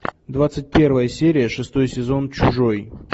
двадцать первая серия шестой сезон чужой